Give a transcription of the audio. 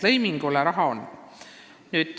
Lõimingu jaoks raha on.